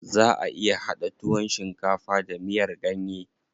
Zaʼa iya haɗa tuwon shinkafa da miyar ganye.